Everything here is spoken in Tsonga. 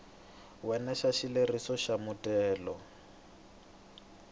wena xa xileriso xa muthelo